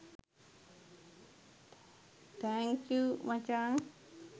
thank you මචං